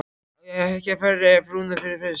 Á ég ekki að ferja frúna yfir fyrst?